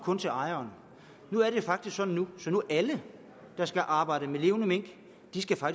kun til ejeren og nu er det faktisk sådan at alle der skal arbejde med levende mink